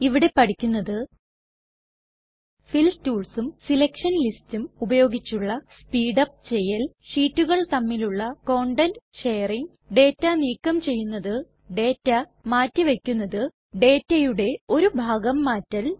ഇവിടെ പഠിക്കുന്നത് ഫിൽ ടൂൾസും സെലക്ഷൻ ലിസ്റ്റ്സും ഉപയോഗിച്ചുള്ള സ്പീഡ് അപ് ചെയ്യൽ ഷീറ്റുകൾ തമ്മിലുള്ള കണ്ടൻറ് ഷെയറിംഗ് ഡേറ്റ നീക്കം ചെയ്യുന്നത്ഡേറ്റ മാറ്റി വയ്ക്കുന്നത് ഡേറ്റയുടെ ഒരു ഭാഗം മാറ്റൽ